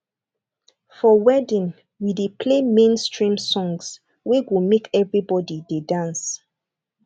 for wedding we dey play mainstream songs wey go make everybody dey dance